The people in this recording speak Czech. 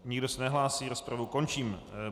Nikdo se nehlásí, rozpravu končím.